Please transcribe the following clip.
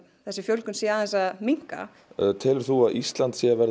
þessi fjölgun sé aðeins að minnka telur þú að Ísland sé að verða